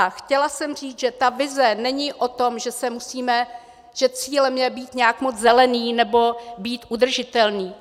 A chtěla jsem říct, že ta vize není o tom, že cílem je být nějak moc zelený nebo být udržitelný.